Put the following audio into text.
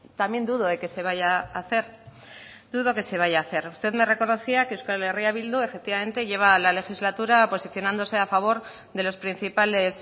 también dudo de que se vaya a hacer dudo que se vaya hacer usted me reconocía que euskal herria bildu efectivamente lleva la legislatura posicionándose a favor de los principales